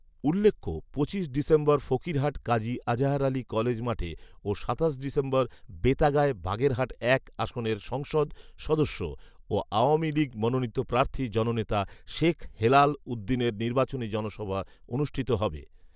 উল্লেখ্য পঁচিশ December Fakirhat Kazi Azahar Ali college মাঠে ও সাতাশ ডিসেম্বর বেতাগায় বাগেরহাট এক আসনের সংসদ সদস্য ও আওয়ামী লীগ মনোনিত প্রার্থী জননেতা শেখ হেলাল উদ্দীনের নির্বাচনী জনসভা অনুষ্ঠিত হবে